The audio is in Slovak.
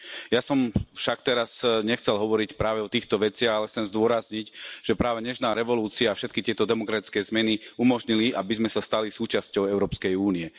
Ja som však teraz nechcel hovoriť práve o týchto veciach, ale chcem zdôrazniť, že práve Nežná revolúcia všetky tieto demokratické zmeny umožnila, aby sme sa stali súčasťou Európskej únie.